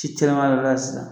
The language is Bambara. Ci caman de b'a la sisan